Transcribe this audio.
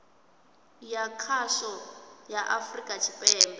ya khasho ya afurika tshipembe